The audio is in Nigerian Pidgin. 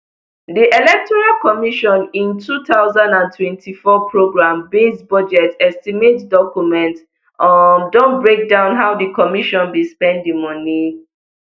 di electoral commission im two thousand and twenty-four programmebased budget estimate document um don breakdown how di commission bin spend di moni